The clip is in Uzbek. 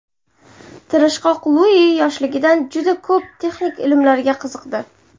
Tirishqoq Lui yoshligidan juda ko‘p texnik ilmlarga qiziqdi.